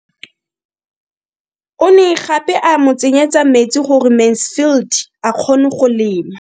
O ne gape a mo tsenyetsa metsi gore Mansfield a kgone go lema.